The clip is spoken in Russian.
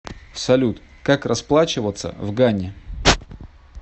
салют как расплачиваться в гане